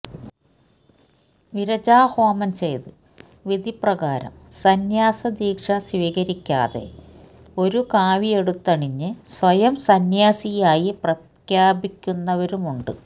വിരജാഹോമം ചെയ്ത് വിധിപ്രകാരം സംന്യാസദീക്ഷ സ്വീകരിക്കാതെ ഒരു കാവിയെടുത്തണിഞ്ഞ് സ്വയം സന്ന്യാസിയായി പ്രഖ്യാപിക്കുന്നവരുമുണ്ട്